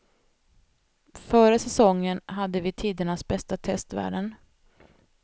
Före säongen hade vi tidernas bästa testvärden.